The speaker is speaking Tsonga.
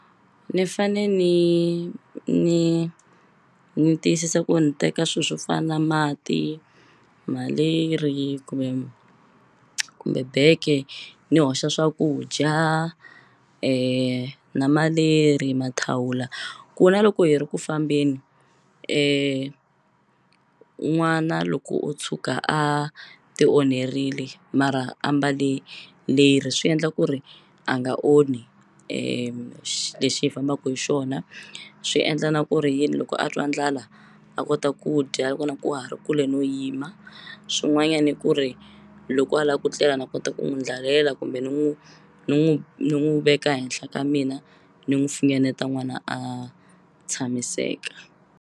Ni fane ni ni ni tiyisisa ku ni teka swi swo fana na mati malerhi kumbe kumbe bege ni hoxa swakudya na maleri mathawula ku na loko hi ri ku fambeni n'wana loko o tshuka a ti onherile mara a mbale leri swi endla ku ri a nga onhi lexi hi fambaku hi xona swi endla na ku ri yini loko a twa ndlala a kota ku dya loko na ku wa ha ri kule no yima swin'wanyani i ku ri loko a la ku tlela na kota ku n'wi ndlalela kumbe ni n'wu ni n'wu ni n'wu veka henhla ka mina ni n'wu fingeneta n'wana a tshamiseka.